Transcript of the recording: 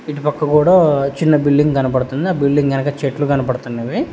ఇటుపక్క కూడా చిన్న బిల్డింగ్ కనపడుతుంది ఆ బిల్డింగ్ వెనక చెట్లు కనపడుతున్నవి.